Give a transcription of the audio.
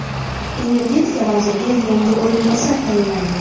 Energetika vaziriga yangi o‘rinbosar tayinlandi.